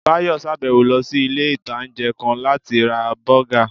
Báyọ̀ sàbẹ̀wọ̀ lọ sí ilé-ìtánjẹ́ kan láti ra bọ́gà